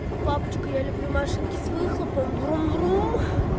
папочка я люблю машинки с выхлопом врум врум